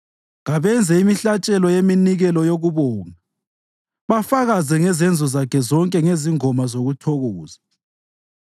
Kabenze imihlatshelo yeminikelo yokubonga bafakaze ngezenzo zakhe zonke ngezingoma zokuthokoza.